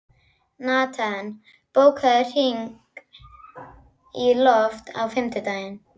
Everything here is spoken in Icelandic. Natan, bókaðu hring í golf á fimmtudaginn.